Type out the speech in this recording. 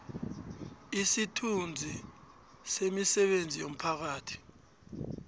isithunzi semisebenzi yomphakathi